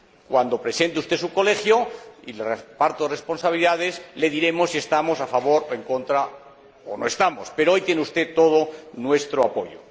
Cuando presente usted su Colegio y el reparto de responsabilidades, le diremos si estamos a favor o en contra o no estamos, pero, hoy, tiene usted todo nuestro apoyo.